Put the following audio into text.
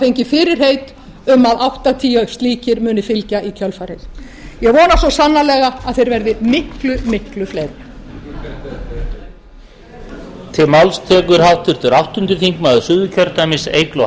fengið fyrirheit um að áttatíu slíkir muni fylgja í kjölfarið ég vona svo sannarlega að þeir verði miklu fleiri